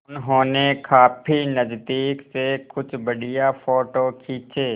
उन्होंने काफी नज़दीक से कुछ बढ़िया फ़ोटो खींचे